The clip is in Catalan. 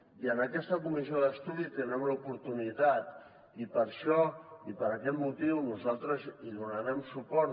i en aquesta comissió d’estudi tindrem l’oportunitat i per això i per aquest motiu nosaltres hi donarem suport